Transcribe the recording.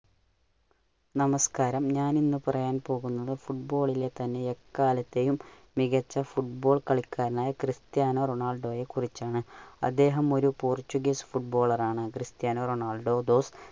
നമസ്കാരം ഞാൻ ഇന്ന് പറയാൻ പോവുന്നത് football ലെത്തന്നെ എക്കാലത്തെയും മികച്ച football കളിക്കാരൻ ആയ ക്രിസ്റ്റ്യാനോ റൊണാള്‍ഡോയെ കുറിച്ചാണ്. അദ്ദേഹം ഒരു പോർച്ചുഗീസ് footballer ആണ്. Cristiano Ronaldo's